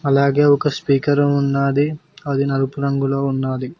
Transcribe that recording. అలాగే ఒక స్పీకరు ఉన్నాది అది నలుపు రంగులొ ఉన్నాది.